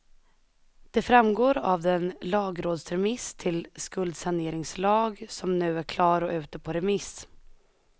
Det framgår av den lagrådsremiss till skuldsaneringslag som nu är klar och ute på remiss.